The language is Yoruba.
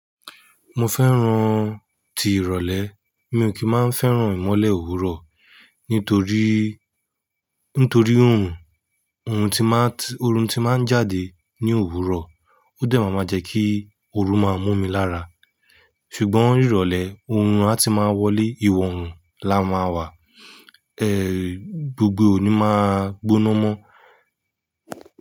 Mo fẹ́ràn tí ìrọ̀lẹ́, mi ò kí máa ń fẹ́ràn ìmọ́lẹ̀ òwúrọ̀ nítorí, nítorí òrùn, oorun tí máa ń, oorun tí máa ń jáde ní òwúrọ̀, ó dẹ́ máa máa jẹ́ kí oru máa mú mi lára. Ṣùgbọ́n, ìrọ̀lẹ́, oorun a ti máa wọlé, ìwọ oòrùn la máa wà, ẹ, gbogbo è òní máa gbóná mọ́.